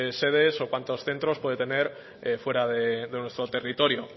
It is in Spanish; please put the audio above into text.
cuántas sedes o cuantos centros puede tener fuera de nuestro territorio